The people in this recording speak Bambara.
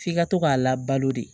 F'i ka to k'a labalo de